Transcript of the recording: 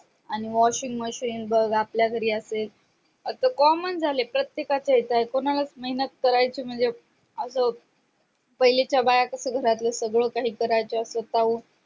आणि washing machine बग आपल्या घरी असेल आता comman झालंय प्रत्येकाचं कोणालाच मेहनत कराचे म्हणजे असं पाहिलेच्य बाया कास सगळं घरातले करायचे असंल